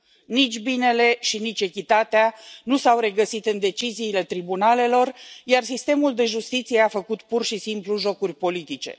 Nici binele și nici echitatea nu s au regăsit în deciziile tribunalelor, iar sistemul de justiție a făcut pur și simplu jocuri politice.